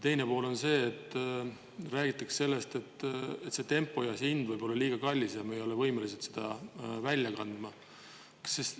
Teine osapool on rääkinud sellest, et tempo ja hind võivad olla liiga kallid ning me ei ole võimelised seda välja kandma.